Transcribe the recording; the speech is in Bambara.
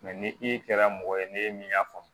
ni i kɛra mɔgɔ ye n'e min y'a faamu